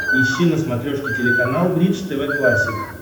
ищи на смотрешке телеканал бридж тв классик